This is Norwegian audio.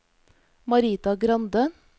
Marita Grande